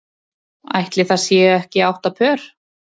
Ætli það séu ekki átta pör.